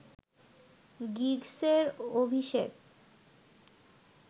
গিগসের অভিষেক